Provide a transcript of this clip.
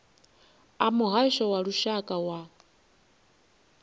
a muhasho wa lushaka wa